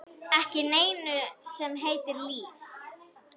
Ekki neinu sem heitir líf.